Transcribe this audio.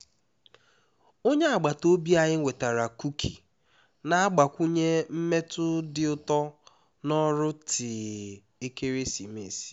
onye agbata obi anyị wetara kuki na-agbakwunye mmetụ dị ụtọ na ọrụ tii ekeresimesi